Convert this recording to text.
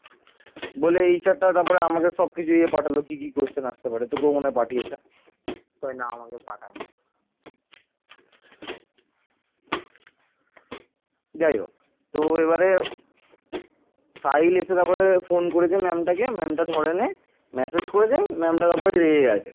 যাই হোক তো এবারে সাহিল এসে তারপরে phone করেছে ma'am টা কে ma'am টা ধরেনি, massage করেছে ma'am টা এবার রেগে গিয়েছে।